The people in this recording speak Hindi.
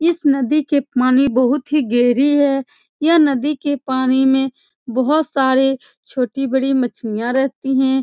इस नदी के पानी बहुत ही गहरी है यह नदी के पानी में बहुत सारे छोटी-बड़ी मछलीयाँ रहती हैं ।